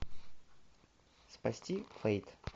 спасти фэйт